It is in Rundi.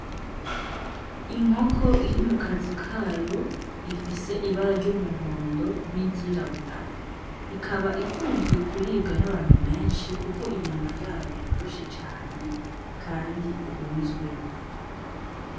Inkoko iri mu kazu kayo ifise ibara ry'umuhondo n'iryirabura, ikaba ikunzwe kuribwa n'abantu benshi kuko inyama yayo yoroshe cane kandi ikunzwe.